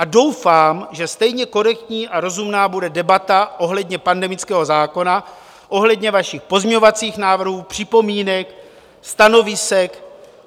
A doufám, že stejně korektní a rozumná bude debata ohledně pandemického zákona, ohledně vašich pozměňovacích návrhů, připomínek, stanovisek.